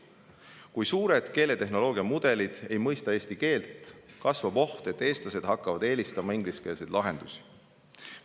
Kui suured keeletehnoloogiamudelid ei mõista eesti keelt, kasvab oht, et eestlased hakkavad eelistama ingliskeelseid lahendusi.